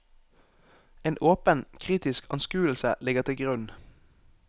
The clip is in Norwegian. En åpen, kritisk anskuelse ligger til grunn.